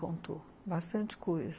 Contou, bastante coisa.